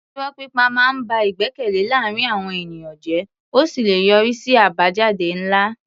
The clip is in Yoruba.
Irọ́ pípa máa ń ba ìgbẹ́kẹ̀lé láàárín àwọn ènìyàn jẹ́ ó sì lè yọrí sí àbájáde ńlá.